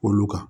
Olu kan